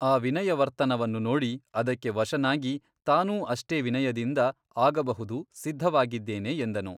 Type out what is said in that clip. ಆ ವಿನಯವರ್ತನವನ್ನು ನೋಡಿ ಅದಕ್ಕೆ ವಶನಾಗಿ ತಾನೂ ಅಷ್ಟೇ ವಿನಯದಿಂದ ಆಗಬಹುದು ಸಿದ್ಧವಾಗಿದ್ದೇನೆ ಎಂದನು.